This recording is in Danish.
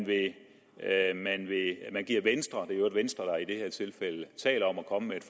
det er i øvrigt venstre der i det her tilfælde taler om at komme med et